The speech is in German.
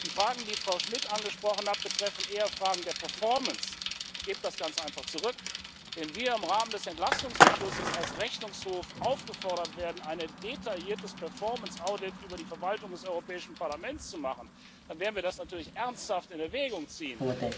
Die Fragen, die Frau Schmidt angesprochen hat, betreffen eher Fragen der performance der Wirtschaftlichkeit. Ich gebe das ganz einfach zurück Wenn wir im Rahmen des Entlastungsbeschlusses als Rechnungshof aufgefordert werden, eine detaillierte Wirtschaftlichkeitsprüfung über die Verwaltung des Europäischen Parlaments zu machen, dann werden wir das natürlich ernsthaft in Erwägung ziehen.